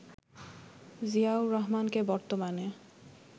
জিয়াউর রহমানকে বর্তমানে